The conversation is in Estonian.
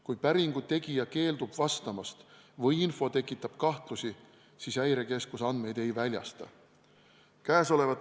Kui päringu tegija keeldub vastamast või info tekitab kahtlusi, siis Häirekeskus andmeid ei väljasta.